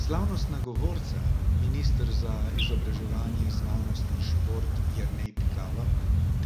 Slavnostna govorca, minister za izobraževanje, znanost in šport Jernej Pikalo